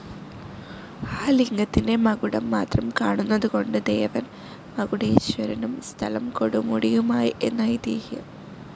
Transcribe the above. ആ ലിംഗത്തിൻ്റെ മകുടം മാത്രം കാണുന്നതുകൊണ്ട് ദേവൻ മകുടേശ്വരനും സ്ഥലം കൊടുമുടിയും ആയി എന്ന് ഐതീഹ്യം.